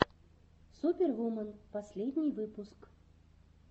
супервумен последний выпуск